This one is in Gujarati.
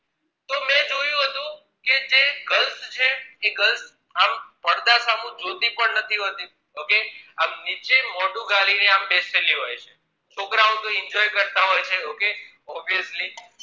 તો એ જે girls એ grils આમ પડદા સામું જોતી પણ નથી હોતી okay આમ નીચે મોઢું ગાલી ને બેસેલી હોય છે છોકરાઓ તો enjoy કરતાં હોય છે ok officely